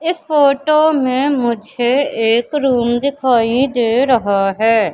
इस फोटो में मुझे एक रूम दिखाई दे रहा है।